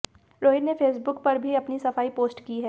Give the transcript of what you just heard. रोहित ने फेसबुक पर भी अपनी सफाई पोस्ट की है